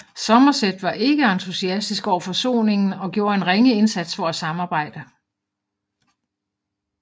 Somerset var ikke entusiastisk over forsoningen og gjorde en ringe indsats for at samarbejde